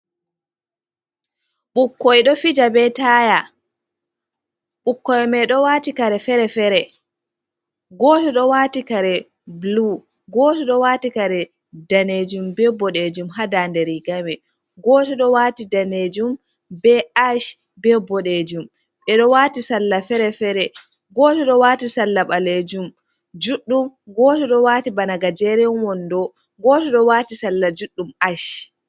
Ɓukkoi ɗo fija be taya ɓukkoi mai ɗo wati kare fere-fere, goto do wati kare bulu, goto ɗo wati kare danejum be boɗejum haa daande riga mai, goto ɗo wati danejum be ash, be bodejum ɓe ɗo wati salla fere-fere, goto ɗo wati salla balejum juddum, goto ɗo wati bana gajeren wando, goto ɗo wati salla juɗɗum ash.